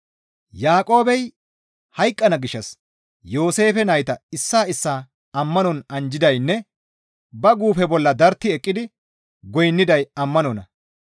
Yaaqoobey hayqqana gishshas Yooseefe nayta issaa issaa ammanon anjjidaynne ba guufe bolla dartti eqqidi goynniday ammanonna.